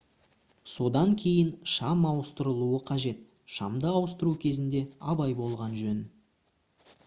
содан кейін шам ауыстырылуы қажет шамды ауыстыру кезінде абай болған жөн